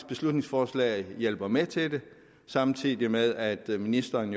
beslutningsforslaget hjælper med til det samtidig med at ministeren